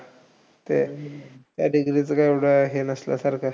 तेच, त्या degree एवढं काही हे नसल्यासारखं.